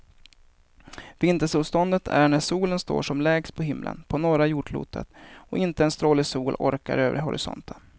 Vintersolståndet är när solen står som lägst på himlen på norra jordklotet och inte en stråle sol orkar över horisonten.